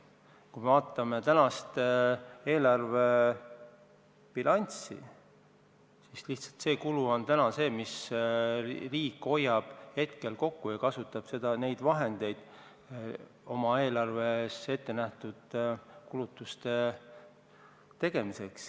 Kui me vaatame praegust eelarvebilanssi, siis teise pensionisamba kulu riik hoiab hetkel kokku ja kasutab neid vahendeid eelarves ette nähtud kulutuste tegemiseks.